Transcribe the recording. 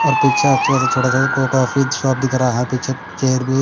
और पीछे अच्छा सा छोटा सा कोक ऑफिस शॉप दिख रहा हैं पीछे चेयर भी--